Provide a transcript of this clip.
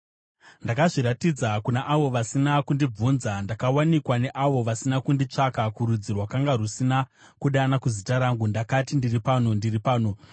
“Ndakazviratidza kuna avo vasina kundibvunza; ndakawanikwa neavo vasina kunditsvaka. Kurudzi rwakanga rusina kudana kuzita rangu ndakati, ‘Ndiri pano, ndiri pano.’